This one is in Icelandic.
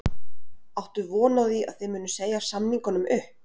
Áttu von á því að þið munið segja samningunum upp?